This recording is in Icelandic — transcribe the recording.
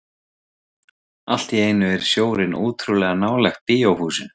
Allt í einu er sjórinn ótrúlega nálægt bíóhúsinu.